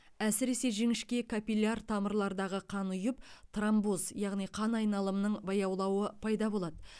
әсіресе жіңішке капилляр тамырлардағы қан ұйып тромбоз яғни қан айналымының баяулауы пайда болады